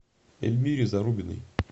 эльмире зарубиной